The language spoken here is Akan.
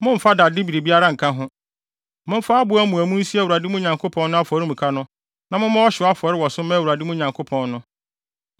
Momfa abo amuamu nsi Awurade, mo Nyankopɔn no, afɔremuka no na mommɔ ɔhyew afɔre wɔ so mma Awurade, mo Nyankopɔn no.